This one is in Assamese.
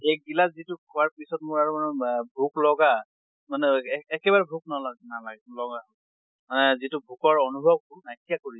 এক গিলাছ খোৱাৰ পিছত মোৰ আৰু মা ভোক লগা মানে অ একেবাৰে ভোক নলগা নালাগে লগা মানে যিটো ভোকৰ অনুভৱ নাইকিয়া কৰি দিয়ে